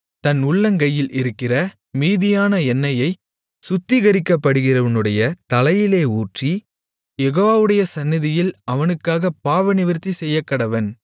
தன் உள்ளங்கையில் இருக்கிற மீதியான எண்ணெயைச் சுத்திகரிக்கப்படுகிறவனுடைய தலையிலே ஊற்றி யெகோவாவுடைய சந்நிதியில் அவனுக்காகப் பாவநிவிர்த்தி செய்யக்கடவன்